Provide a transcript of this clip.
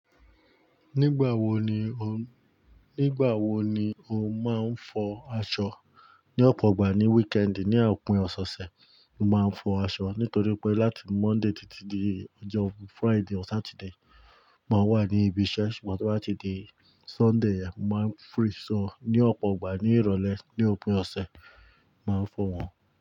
Nígbàwo ni o n-- nígbàwo ni o máa ń fọ aṣọ? Ní ọ̀pọ̀ ìgbà ní wíkẹ́ẹ́dì, ní òpin ọ̀sẹ̀se, mo máa ń fọ aṣọ nítorí pé láti Monday títí dé ọjọ́ Friday or Saturday, mo máa wà ní ibi iṣẹ́ ṣùgbọ́n tí o bá ti dé Sunday, mo máa ń free. So ní ọ̀pọ̀ ìgbà ní ìrọ̀lẹ́ ní òpin ọ̀sẹ̀, mo máa ń fọ wọ́n.